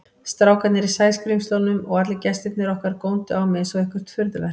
Strákarnir í Sæskrímslunum og allir gestirnir okkar góndu á mig einsog eitthvert furðuverk.